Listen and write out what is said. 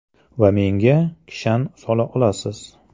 Va menga kishan sola olasiz.